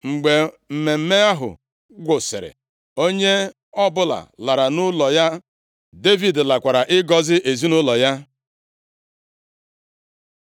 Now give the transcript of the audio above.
Mgbe mmemme ahụ gwụsịrị, onye ọbụla lara nʼụlọ ya. Devid lakwara ịgọzi ezinaụlọ ya.